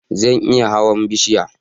Zan iya hawan bishiya